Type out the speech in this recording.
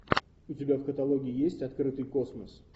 у тебя в каталоге есть открытый космос